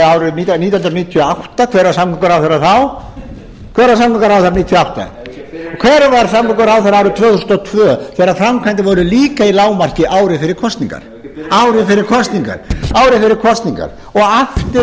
árið nítján hundruð níutíu og átta hver var samgönguráðherra þá hver var samgönguráðherra nítján hundruð níutíu og átta hver var samgönguráðherra árið tvö þúsund og tvö þegar framkvæmdir voru líka í lágmarki ári fyrir kosningar ári fyrir kosningar og aftur